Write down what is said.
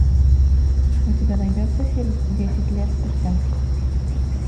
у тебя найдется фильм десять лет спустя